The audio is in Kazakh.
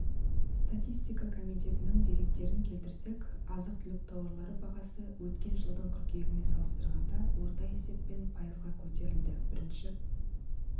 статистика комитетінің деректерін келтірсек азық-түлік тауарлары бағасы өткен жылдың қыркүйегімен салыстырғанда орта есеппен пайызға көтерілді бірінші